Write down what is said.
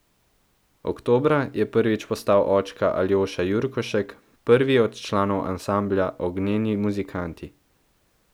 Oktobra je prvič postal očka Aljoša Jurkošek, prvi od članov ansambla Ognjeni muzikanti.